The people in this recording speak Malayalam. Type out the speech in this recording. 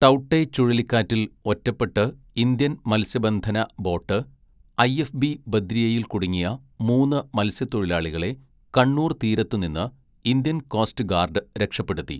ടൗട്ടെ ചുഴലിക്കാറ്റിൽ ഒറ്റപ്പെട്ട് ഇന്ത്യൻ മൽസ്യബന്ധന ബോട്ട് ഐ എഫ് ബി ബദ്രിയയിൽ കുടുങ്ങിയ മൂന്ന് മത്സ്യത്തൊഴിലാളികളെ കണ്ണൂർ തീരത്തു നിന്ന് ഇന്ത്യൻ കോസ്റ്റ് ഗാർഡ് രക്ഷപ്പെടുത്തി.